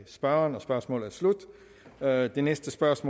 lave den